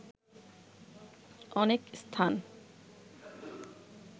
অনেক স্থান